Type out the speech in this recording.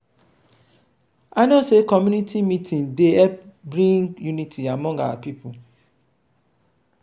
i know sey community meeting dey help bring unity among our pipo.